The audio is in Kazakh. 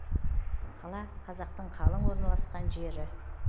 қала қазақтың қалың орналасқан жері